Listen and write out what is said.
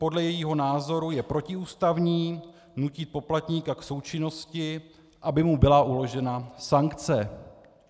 Podle jejího názoru je protiústavní, nutí poplatníka k součinnosti, aby mu byla uložena sankce.